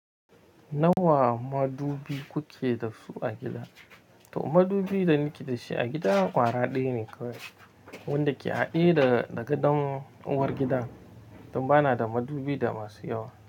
Nawa madubi kuke da su a gida? To madubi da nike da shi a gida ƙwara ɗaya ne kawai wanda ke haɗe daga ɗan uwar gida. Don ba na da madubi da masu yawa.